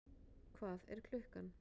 Hvað er klukkan?